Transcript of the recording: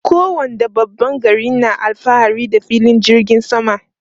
Kowane babban gari na alfahari da filin jirgin sama.